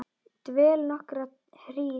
Dvel nokkra hríð.